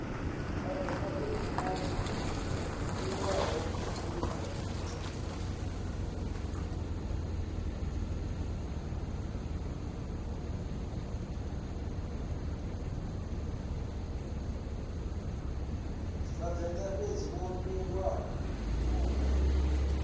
vhavenḓa fhedzi vho miliwa vhunga